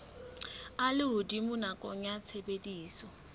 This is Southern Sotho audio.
a lehodimo nakong ya tshebediso